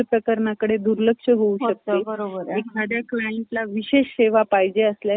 प्रकरणाकडे दुर्लक्ष होऊ शकते , एखाद्या क्लायंट ला विशेष सेवा पाहिजे असल्यास